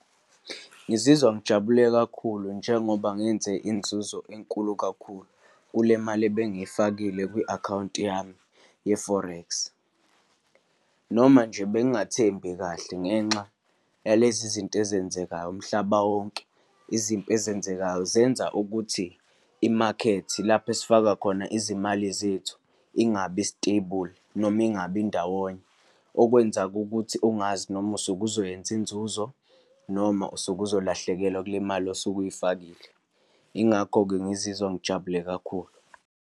Ngizizwa ngijabule kakhulu njengoba ngenze inzuzo enkulu kakhulu kule mali ebengiyifakile kwi-akhawunti yami ye-forex, noma nje bengingathembi kahle ngenxa yalezi zinto ezenzekayo umhlaba wonke. Izimpi ezenzekayo zenza ukuthi imakethe, lapho esifaka khona izimali zethu, ingabi stable, noma ingabi ndawonye, okwenza-ke kukuthi ungazi noma usuke uzokwenza inzuzo, noma usuke uzolahlekelwa kule mali osuke uyifakile. Yingakho-ke ngizizwa ngijabule kakhulu.